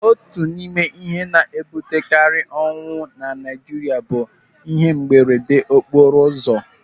Otu n'ime ihe na-ebutekarị ọnwụ na Naijiria bụ ihe mberedeokporoụzọ.